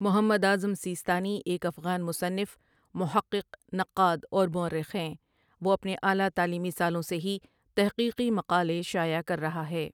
محمد اعظم سیستانی ایک افغان مصنف ، محقق ، نقاد اور مؤرخ ہیں وہ اپنے اعلی تعلیمی سالوں سے ہی تحقیقی مقالے شائع کررہا ہے۔